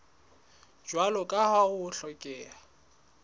jwalo ka ha ho hlokeha